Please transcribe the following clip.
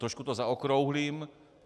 Trošku to zaokrouhlím.